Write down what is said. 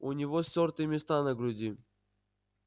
у него стёртые места на груди